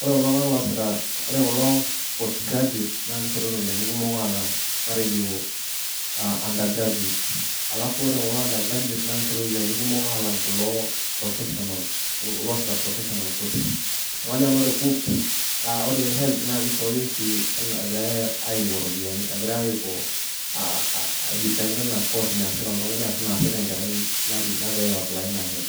Ore kulo tunganak loosita , ore kulo post graduates naa kishori ropiyiani kumok alang matejo under graduates. Alafu ore kulo under graduates naa kishori ropiyiani kumok alang kulo professional, loosita professional courses . Niaku kajo nanu ore KUCCPS , naa ore helb naa kishori oshi anaa egirae aiko iropiyiani, egirae aiko kidepend anaacourse naasita oltungani ashu naasita enkerai nagira aaply inahelb.